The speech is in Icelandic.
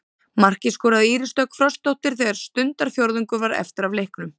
Markið skoraði Íris Dögg Frostadóttir þegar stundarfjórðungur var eftir af leiknum.